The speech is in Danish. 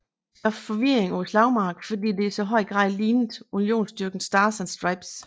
Det skabte forvirring på slagmarken fordi det i så høj grad lignede Unionsstyrkernes Stars and Stripes